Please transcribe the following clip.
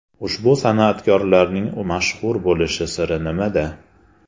Ushbu san’atkorlarning mashhur bo‘lish siri nimada?